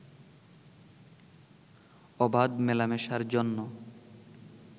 অবাধ মেলামেশার জন্য